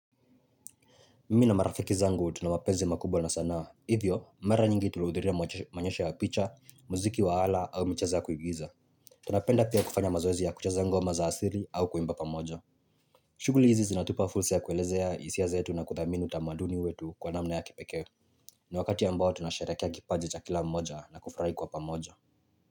Mimi na marafiki zangu tuna mapezi makubwa na sana. Hivyo, mara nyingi tulihudhiria maonyesho ya picha, muziki wa ala au michezo ya kuigiza. Tunapenda pia kufanya mazoezi ya kucheza ngoma za asiri au kuimba pamoja. Shuguli hizi zinatupa fursa ya kuelezea hisia zetu na kuthamini tamaduni wetu kwa namna ya kipeke. Ni wakati ambao tunasherehekea kipaji cha kila mmoja na kufurahi kwa pamoja.